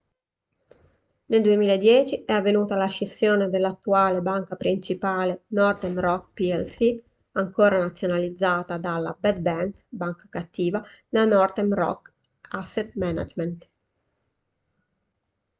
nel 2010 è avvenuta la scissione dell'attuale banca principale northern rock plc ancora nazionalizzata dalla 'bad bank' banca cattiva la northern rock asset management